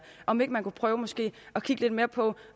om ikke man kunne prøve måske at kigge lidt mere på